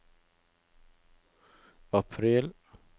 april